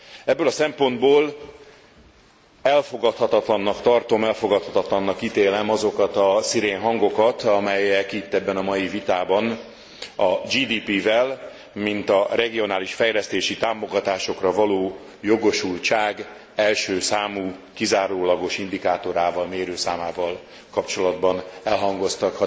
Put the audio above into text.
Ebből a szempontból elfogadhatatlannak tartom, elfogadhatatlannak ítélem azokat a szirénhangokat, amelyek itt ebben a mai vitában a GDP vel mint a regionális fejlesztési támogatásokra való jogosultság első számú kizárólagos indikátorával, mérőszámával kapcsolatban elhangoztak.